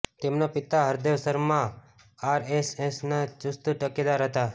તેમના પિતા હરદેવ શર્મા આરએસએસના ચૂસ્ત ટેકેદાર હતા